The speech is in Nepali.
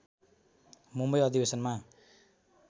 मुम्बई अधिवेशनमा